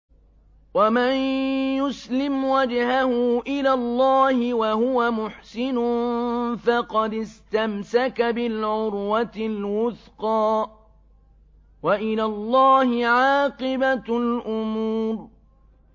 ۞ وَمَن يُسْلِمْ وَجْهَهُ إِلَى اللَّهِ وَهُوَ مُحْسِنٌ فَقَدِ اسْتَمْسَكَ بِالْعُرْوَةِ الْوُثْقَىٰ ۗ وَإِلَى اللَّهِ عَاقِبَةُ الْأُمُورِ